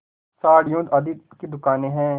साड़ियों आदि की दुकानें हैं